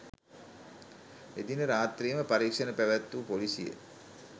එදින රාත්‍රියේම පරීක්‍ෂණ පැවැත්වූ පොලිසිය